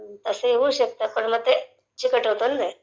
तसही होऊ शकतं ............पण चिकटं होत ना ते..